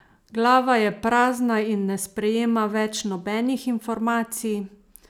Glava je prazna in ne sprejema več nobenih informacij?